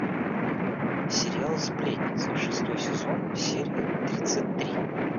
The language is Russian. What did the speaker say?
сериал сплетница шестой сезон серия тридцать три